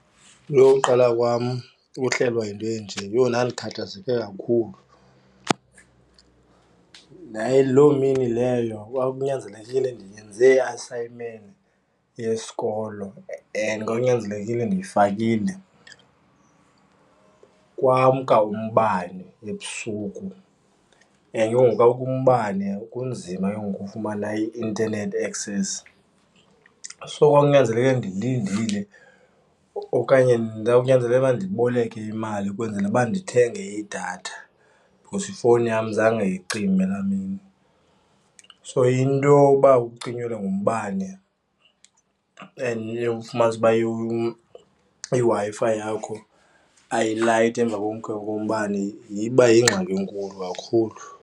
Yho, uqala kwam uhlelwa yinto enje yho ndikhathazeke kakhulu, yaye loo mini leyo kwakunyanzelekile ndiyenze i-assignment yesikolo, and kwakunyanzelekile ndiyifakile. Kwamka umbane ebusuku and ke ngoku kakumke umbane kunzima ke ngoku ukufumana i-internet access, so kwawunyanzeleke ndilindile okanye kwakunyanzeleke uba ndiboleke imali ukwenzela uba ndithenge idatha, because ifowuni yam zange icime laa mini. So, into yoba ukucinyelwe ngumbane and ufumanise ukuba iWi-Fi yakho ayilayiti emva kokumka kombane iba yingxaki enkulu kakhulu.